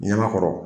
Ɲama kɔrɔ